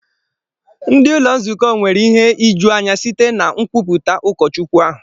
Ndị ụlọ nzukọ nwere ịhe ịjụ anya site na nkwupụta ụkọchukwu ahụ.